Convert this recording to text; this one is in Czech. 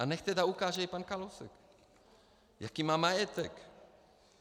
A nechť tedy ukáže i pan Kalousek, jaký má majetek.